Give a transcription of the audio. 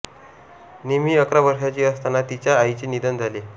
निम्मी अकरा वर्षाची असताना तिच्या आईचे निधन झाले